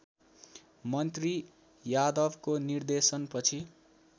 मन्त्री यादवको निर्देशन पछि